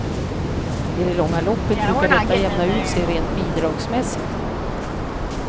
I det långa loppet brukar detta jämna ut sig rent bidragsmässigt.